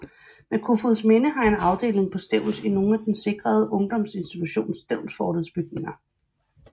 Men Kofoedsminde har en afdeling på Stevns i nogle af den sikrede undgdomsinstitution Stevnsfortets bygninger